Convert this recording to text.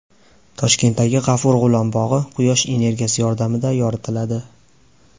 Toshkentdagi G‘afur G‘ulom bog‘i Quyosh energiyasi yordamida yoritiladi .